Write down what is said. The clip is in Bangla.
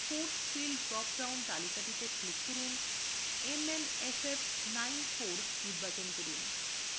force field drop down তালিকাতে click করুন mmff94 নির্বাচন করুন